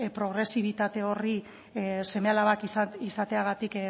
progresibitate horri seme alabak izateagatik